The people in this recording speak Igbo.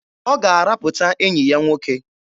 Ọ ga-arapụta enyi ya nwoke.